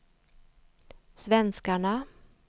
svenskarna